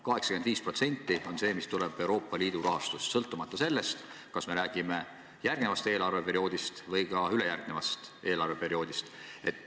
85% moodustab Euroopa Liidu rahastus sõltumata sellest, kas me räägime järgmisest eelarveperioodist või ülejärgmisest eelarveperioodist.